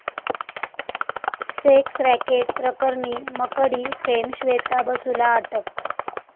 sex racket' प्रकरणी 'Makdee' fame Shweta बसूला अटक